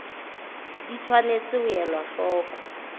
di tshwanetse ho elwa hloko